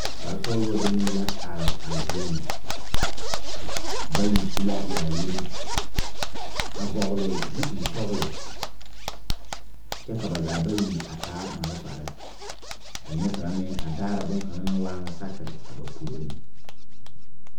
Kpare sɔglɔ demee la are a zie ŋa bayi su la yaayire a vɔgle zupile sɔglɔ kyɛ ka ba zaa bayi a taa malfarre ka nie kaŋa meŋ a daara bonkaŋa naŋ waa ŋa sakire a ba puoriŋ.